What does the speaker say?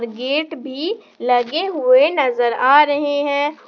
Gate भी लगे हुए नजर आ रहे हैं।